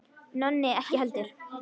Nonni ekki heldur.